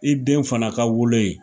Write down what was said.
I den fana ka wolo ye.